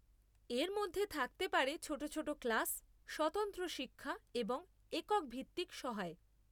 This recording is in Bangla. এর মধ্যে থাকতে পারে ছোট ছোট ক্লাস, স্বতন্ত্র শিক্ষা এবং এককভিত্তিক সহায়।